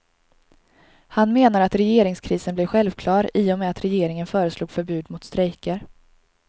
Han menar att regeringskrisen blev självklar i och med att regeringen föreslog förbud mot strejker.